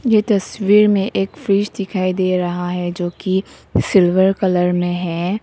ये तस्वीर में एक फ्रिज दिखाई दे रहा है जो कि सिल्वर कलर में है।